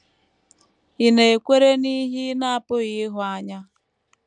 Ị̀ Na - ekwere n’Ihe Ị Na - apụghị Ịhụ Anya?